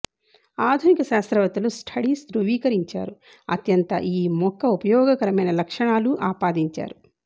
ఆధునిక శాస్త్రవేత్తలు స్టడీస్ ధ్రువీకరించారు అత్యంత ఈ మొక్క ఉపయోగకరమైన లక్షణాలు ఆపాదించారు